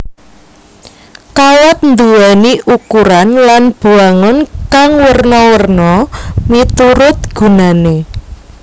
Kawat nduwéni ukuran lan bwangun kang werna werna miturut gunané